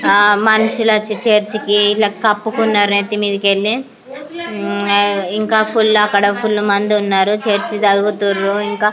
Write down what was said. మనుషులు వచ్చి చర్చి కి ఎలా కప్పుకున్నారు ఇంకా ఫుల్ గ ఆ చదువుతున్నారు .